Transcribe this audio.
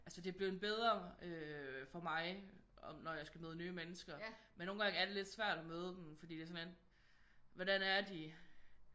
Altså det er blevet bedre øh for mig når jeg skal møde nye mennesker men nogle gange er det lidt svært at møde dem fordi det er sådan lidt hvordan er de?